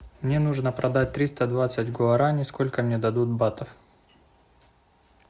мне нужно продать триста двадцать гуараней сколько мне дадут батов